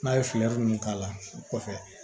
N'a ye ninnu k'a la o kɔfɛ